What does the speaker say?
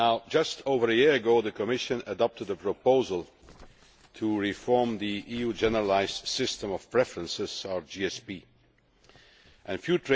Just over a year ago, the Commission adopted a proposal to reform the EU Generalised System of Preferences Few